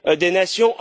des nations.